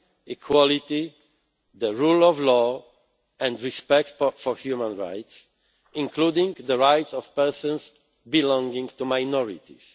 democracy, equality, the rule of law and respect for human rights, including the rights of persons belonging to minorities.'